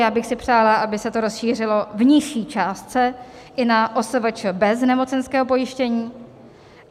Já bych si přála, aby se to rozšířilo v nižší částce i na OSVČ bez nemocenského pojištění.